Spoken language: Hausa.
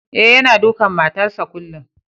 Eh, yanna dukan matan sa kullum.